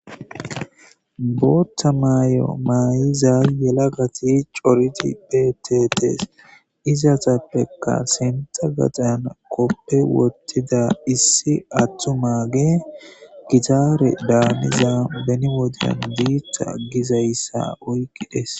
boottha may7o maayiza yelagati coriti betetees izasappekka sinta gaxayan koppe wottida issi attu mage gitaare daaniza beni wodeyan biita gizayssa oyqides